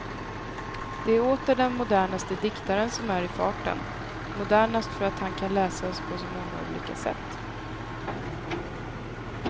Det är åter den modernaste diktaren som är i farten, modernast för att han kan läsas på så många olika sätt.